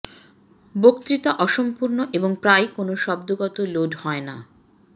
বক্তৃতা অসম্পূর্ণ এবং প্রায়ই কোন শব্দগত লোড হয় না